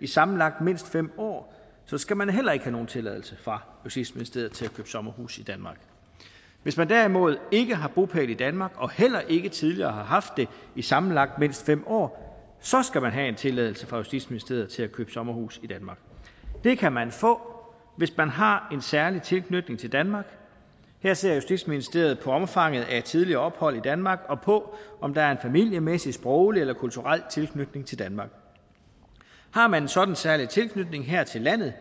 i sammenlagt mindst fem år skal man heller ikke have nogen tilladelse fra justitsministeriet til at købe sommerhus i danmark hvis man derimod ikke har bopæl i danmark og heller ikke tidligere har haft det i sammenlagt mindst fem år skal man have en tilladelse fra justitsministeriet til at købe sommerhus i danmark det kan man få hvis man har en særlig tilknytning til danmark og her ser justitsministeriet på omfanget af tidligere ophold i danmark og på om der er en familiemæssig sproglig eller kulturel tilknytning til danmark har man en sådan særlig tilknytning her til landet